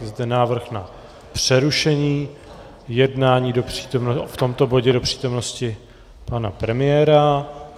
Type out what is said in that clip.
Je zde návrh na přerušení jednání v tomto bodě do přítomnosti pana premiéra...